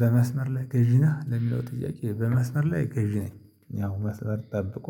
በመስመር ላይ ገዢ ነህ ለሚለው ጥያቄ? በመስመር ላይ ገዢ ነኝ ያው መስመር ጠብቆ